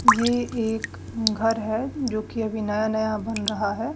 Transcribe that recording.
ये एक घर है जोकि अभी नया नया बन रहा है।